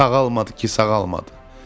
Sağalmadı ki, sağalmadı.